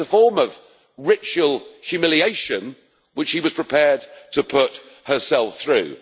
It's a form of ritual humiliation, which she was prepared to put herself through.